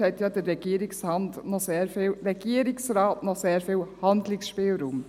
Auch dort hat ja der Regierungsrat noch sehr viel Handlungsspielraum.